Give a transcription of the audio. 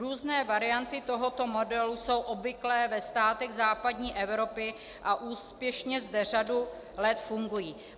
Různé varianty tohoto modelu jsou obvyklé ve státech západní Evropy a úspěšně zde řadu let fungují.